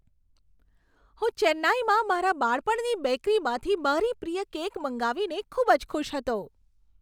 હું ચેન્નાઈમાં મારા બાળપણની બેકરીમાંથી મારી પ્રિય કેક મંગાવીને ખૂબ જ ખુશ હતો.